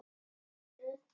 Þú lítur undan.